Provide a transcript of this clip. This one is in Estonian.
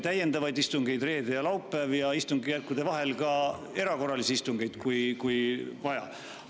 … täiendavaid istungeid reedel ja laupäeval ja istungjärkude vahel ka erakorralisi istungeid, kui on vaja.